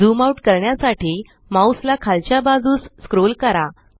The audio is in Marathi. ज़ूम आउट करण्यासाठी माउस ला खालच्या बाजूस स्क्रोल करा